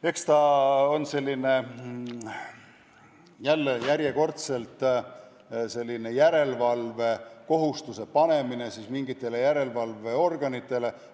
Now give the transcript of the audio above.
Eks ta selline järjekordne järelevalveorganitele järelevalvekohustuse panemine ole.